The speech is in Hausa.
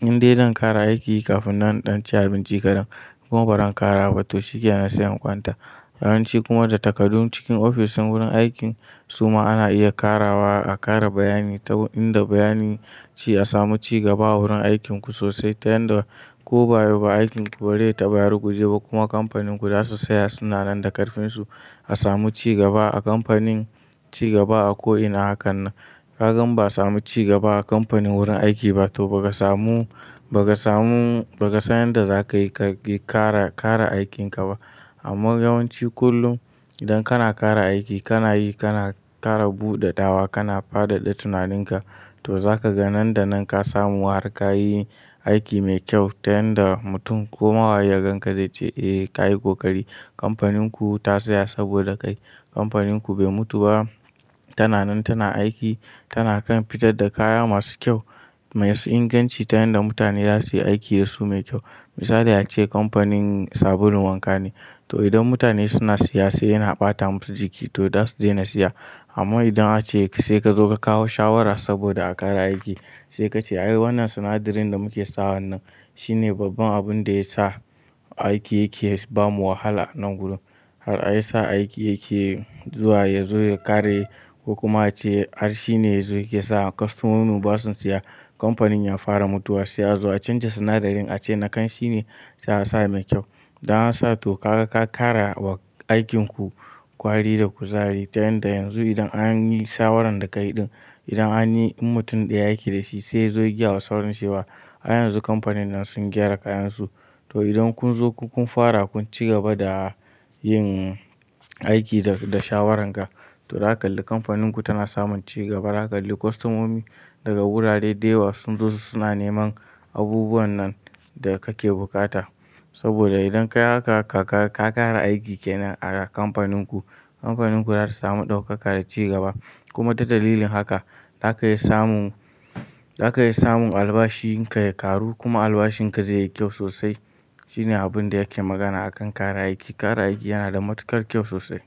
in dai zan kara aiki kafin na ɗan ci abinci kaɗan kuma baran kara ba to shike na saya ƙwanta. Yawanci kuma da takadu cikin ofishin wurin aikin suma ana iya karawa a ƙara bayani inda bayani sai a samu cigaba a wurin aikin ku so saita yadda ko ba yau ba aikin ku bari ta bayar guje ba kuma kamfaninku za su saya sunanen da ƙarfinsu a samu ci gaba a kamfanin ci gaba a ko'ina hakan nan. Kaga in ba samu ci gaba a kamfanin wurin aiki ba to ba ga samu, ba gmkmmmma samu, ba ka san yadda za ka yi ka ƙi kara, kara aikin ka ba. Amma yawanci kullum idan kana kara aiki kana yi kana ƙara buɗe dawa kana fadada tunaninka to za ka ga nan da nan ka samu harka ka yi aiki mai kyau ta yanda mutum ko mawaye ya ga zai ce eh ka yi ƙoƙari. Kamfaninku ta saya saboda kai. Kamfaninku bai mutu ba tana nan tana aiki tana kan fitar da kaya masu kyau masu inganci ta yanda mutane za su yi aiki da su mai kyau. Misali ace kamfanin sabulun wanka ne to idan mutanen suna siya sai yana ɓatamusu jiki to zasu dai na siyak amma idan ace sai ka zo ka kawo shawara saboda a ƙara aiki sai ka ce ayo wannan sinadarin da muke sawa wannan shine babban abun da ya sa aiki yake ba mu wahala nan gudu. Har a yi sa aiki yake zuwa ya zo ya ƙare yi ko kuma ace har shi ne yanzu yake sa kwastomomu ba su siya kamfanin ya fara mutuwar sai a zo a canja sinadarin a ce na kan shi ne ya sa mai kyau. Idan ansa to ka, ka ƙara wa aikin ku ƙwari da kuzari ta yanda yanzu idan an yi shawaran da ka yi ɗin idan an yi in mutum ɗaya yake da shi sai ya zo ya giya wa saurinsa cewa a yanzu kamfanin nan sun gyara kayansu. To idan kun zo kun fara kun ci gaba da yin aiki da, da shawarar ka to za ka ga kamfaninku tana samun ci gaba. Za ka ga kwastomomi daga wurare da yawa sun zo su suna neman abubuwan nan da kake buƙata. Saboda idan ka haka ka ƙara aiki kenan a kamfaninku, kamfaninku za ta samu ɗaukaka da cigaba kuma ta dalilin haka za ka yi samun, za ka yi samun albashin ka ya karu kuma albashin ka zai yi kyau sosai. Shi ne abin da yake magana a kan kara aiki. Kara aiki yana da matukar kyau sosai.